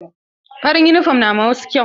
Farin yunifom na ma wasu kyau.